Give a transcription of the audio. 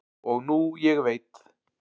og nú ég veit